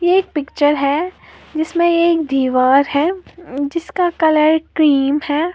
यह एक पिक्चर है जिसमें एक दीवार है जिसका कलर क्रीम है।